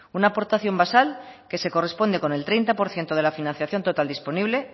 una aportación basal que se corresponde con el treinta por ciento de la financiación total disponible